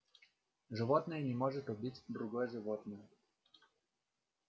животное не может убить другое животное